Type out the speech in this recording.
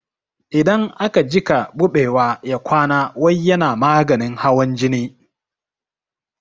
Idan aka jiƙa buɓewa ya kwana wai yana maganin hawan jini